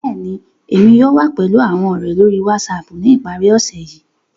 Bẹ́ẹ̀ni, Emi yóò wa pẹlu awọn ọrẹ lori WhatsApp ni ipari ose yii.